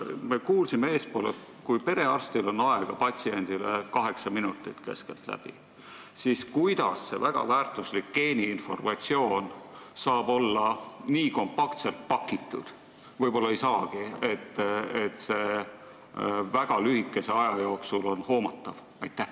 Kui perearstil on patsiendile aega keskeltläbi kaheksa minutit, nagu me kuulsime eespool, siis kuidas see väga väärtuslik geeniinformatsioon saab olla nii kompaktselt pakitud – võib-olla ei saagi –, et see on väga lühikese aja jooksul hoomatav?